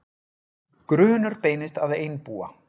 Grunur beinist að einbúa